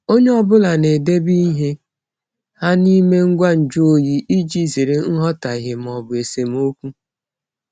Onye ọ bụla na-edobe ihe ha n'ime ngwa nju oyi iji zere nghọtahie ma ọ bụ esemokwu.